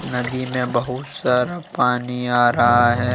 नदी में बहुत सारा पानी आ रहा है।